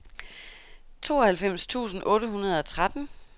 tooghalvfems tusind otte hundrede og tretten